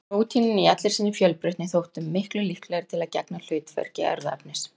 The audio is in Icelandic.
Prótínin í allri sinni fjölbreytni þóttu miklu líklegri til að gegna hlutverki erfðaefnis.